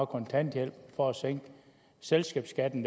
kontanthjælpen for at sænke selskabsskatten